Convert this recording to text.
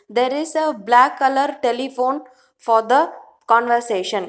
there is a black colour telephone for the conversation.